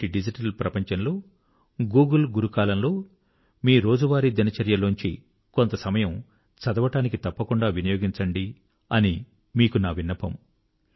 నేటి డిజిటల్ ప్రపంచంలో గూగిల్ గురు కాలంలో మీ డైలీ రౌటైన్ లోంచి కొంత సమయం చదవడానికి తప్పకుండా వినియోగించండి అని మీకు నా విన్నపం